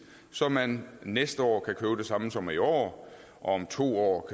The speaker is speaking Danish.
så man næste år kan købe det samme som i år og om to år